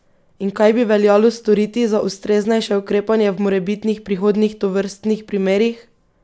In kaj bi veljalo storiti za ustreznejše ukrepanje v morebitnih prihodnjih tovrstnih primerih?